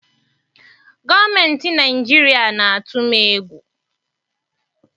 Gọọmentị Naịjirịa na-atụ m egwu.